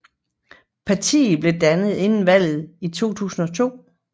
Partiet blev dannet inden valget i 2002